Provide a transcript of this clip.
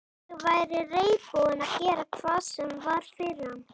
Ég væri reiðubúin að gera hvað sem var fyrir hann.